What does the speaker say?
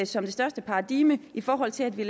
som det største paradigme i forhold til at vi